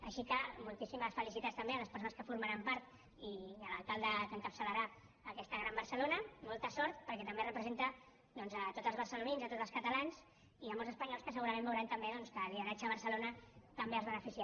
així que moltíssimes felicitats també a les persones que formaran part i a l’alcalde que encapçalarà aquesta gran barcelona molta sort perquè també representa tots els barcelonins i tots els catalans i molts espanyols que segurament veuran també doncs que el lideratge de barcelona també els beneficia